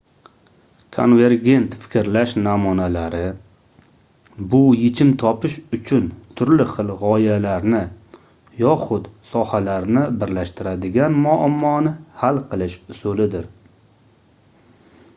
konvergent fikrlash namunalari bu yechim topish uchun turli xil gʻoyalarni yoxud sohalarni birlashtiradigan muammoni hal qilish usulidir